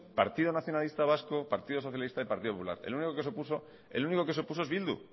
partido nacionalista vasco partido socialista y partido popular el único que se opuso es bildu